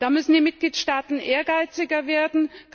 Da müssen die Mitgliedstaaten ehrgeiziger werden.